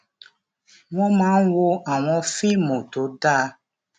wón máa ń wo àwọn fíìmù tó dá